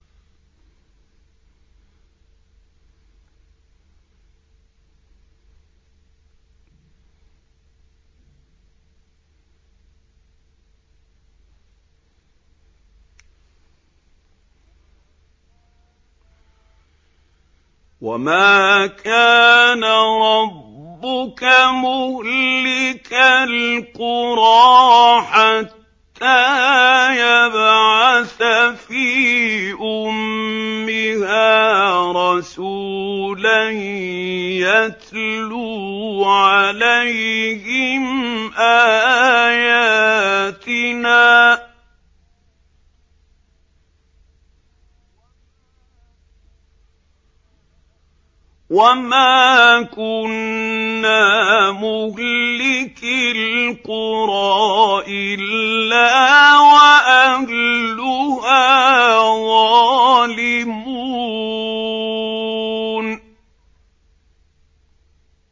وَمَا كَانَ رَبُّكَ مُهْلِكَ الْقُرَىٰ حَتَّىٰ يَبْعَثَ فِي أُمِّهَا رَسُولًا يَتْلُو عَلَيْهِمْ آيَاتِنَا ۚ وَمَا كُنَّا مُهْلِكِي الْقُرَىٰ إِلَّا وَأَهْلُهَا ظَالِمُونَ